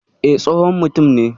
E, tsohon mutum ne.